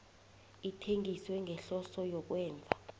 ithengiswe ngehloso yokwenza